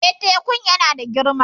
Eh, tekun yana da girma